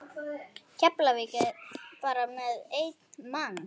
Keflavík bara með einn mann?